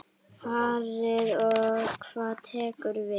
Farið og hvað tekur við?